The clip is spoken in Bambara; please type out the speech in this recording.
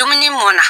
Dumuni mɔn na